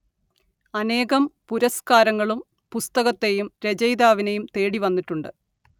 അനേകം പുരസ്കരങ്ങളും പുസ്തകത്തെയും രചയിതാവിനെയും തേടിവന്നിട്ടുണ്ട്